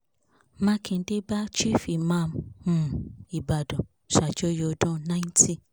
mákindé bá chief imam um ìbàdàn ṣàjọyọ̀ ọdún ninety